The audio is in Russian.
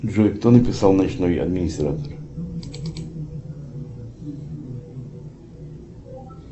джой кто написал ночной администратор